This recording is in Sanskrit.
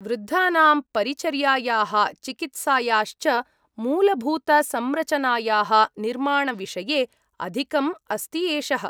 वृद्धानां परिचर्यायाः चिकित्सायाश्च मूलभूतसंरचनायाः निर्माणविषये अधिकम् अस्ति एषः।